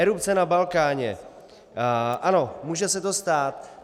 Erupce na Balkáně - ano, může se to stát.